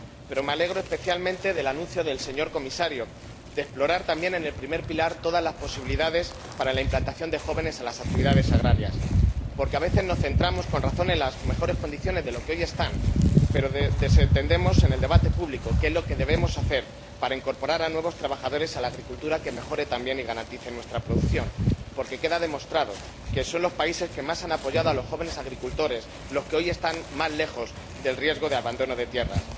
Me alegro especialmente del anuncio del señor Comisario de explorar también en el primer pilar todas las posibilidades para la implantación de jóvenes en las actividades agrarias, porque, a veces, nos centramos con razón en las mejores condiciones de los que están hoy, pero desatendemos en el debate público qué es lo que debemos hacer para incorporar a nuevos trabajadores a la agricultura que mejoren también y garanticen nuestra producción, ya que está demostrado que son los países que más han apoyado a los jóvenes agricultores los que hoy están más lejos del riesgo de abandono de tierras.